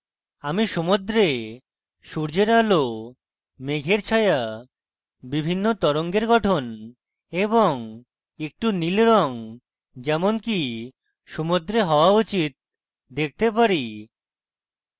আমি সমুদ্রে সূর্যের আলো মেঝের ছায়া বিভিন্ন তরঙ্গের গঠন এবং একটু নীল রঙ যেমনকি সমুদ্রে হওয়া উচিত দেখতে পারি